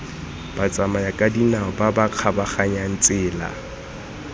batsamayakadinao ba ba kgabaganyang tsela